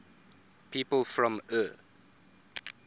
people from eure